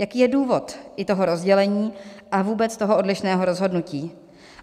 Jaký je důvod i toho rozdělení a vůbec toho odlišného rozhodnutí?